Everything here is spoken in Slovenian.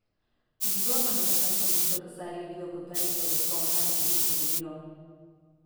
Tudi Dornan je kasnejšo vrnitev k seriji videl kot velik blagoslov, ne pa toliko kot oviro.